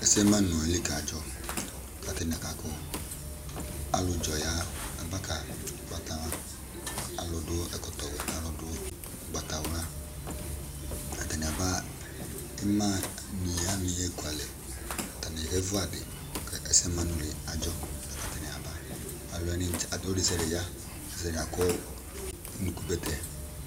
Ɛsɛ manʋ ayili kadzɔ, kʋ atanɩ aka kʋ alʋdzɔ ya aba, alʋ dʋ ɛkɔtɔ wɛ nʋ alʋ dʋ ʋgbatawla, atanɩ aba ɩmanɩ wanɩ ekualɛ, atanɩ kevu adɩ, kʋ ɛsɛ manʋ li adzɔ, la kʋ atanɩ aba, ɔlʋ desɩade ya unuku bɛtɛ